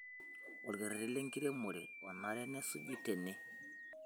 Olkerreti lenkiremore onare nesuji tene